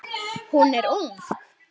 Hún er ung.